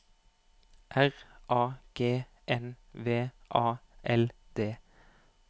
R A G N V A L D